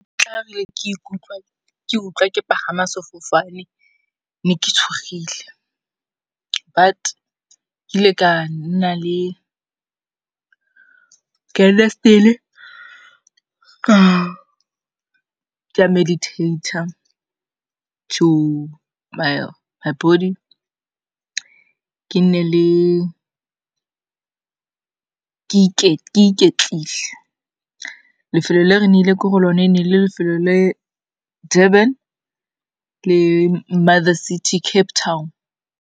ke utlwa ke pagama sefofane, ne ke tshogile but ke ile ka nna still-e ka meditate-a to my body ke iketlile. Lefelo le re ne ile ko go lone ne le lefelo le Durban le Mother city, Cape Town.